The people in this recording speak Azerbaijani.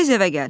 Tez evə gəl.